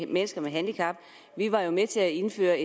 mennesker med handicap vi var med til at indføre